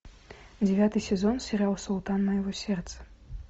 девятый сезон сериал султан моего сердца